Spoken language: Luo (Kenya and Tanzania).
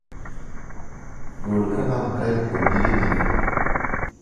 gol kalam kaae kwom gige ndiko